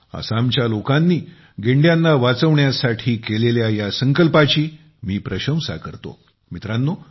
आसामच्या लोकांनी गेंड्याना वाचवण्यासाठी केलेल्या संकल्पाची मी प्रशंसा करतो